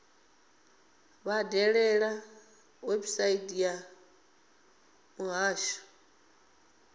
vha dalele website ya muhasho